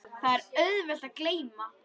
Það er auðvelt að gleyma.